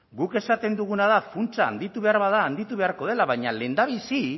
guk esaten duguna da funtsa handitu behar bada handitu beharko dela baina lehendabizi